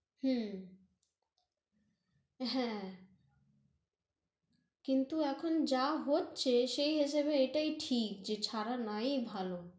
হুঁ হ্যাঁ কিন্তু এখন যা হচ্ছে, সেই হেসাবে এটাই ঠিক, যে ছারা নাই ভালো